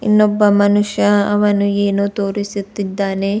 ಇನ್ನೊಬ್ಬ ಮನುಷ್ಯ ಅವನು ಏನು ತೋರಿಸುತ್ತಿದ್ದಾನೆ.